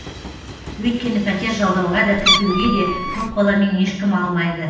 өйткені пәтер жалдауға да тіркеуге де көп баламен ешкім алмайды